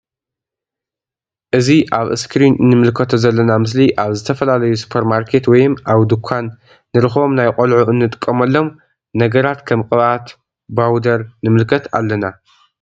እዚ አብ እስክሪን እንምልከቶ ዘለና ምስሊ አብ ዝተፈላለዩ ሱፐር ማርኬት ወይም አብ ዱካን ንረክቦም ናይ ቆልዑ እንጥቀመሎን ነገራት ከም ቅብአት ባውደር ንምልከት አለና::